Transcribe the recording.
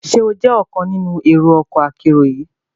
Ṣe o jẹ ọkan nínú ero ọkọ akero yii?